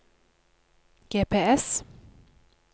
GPS